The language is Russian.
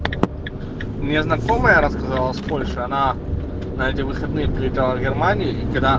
у меня знакомая рассказала с польши она на эти выходные прилетала в германию и когда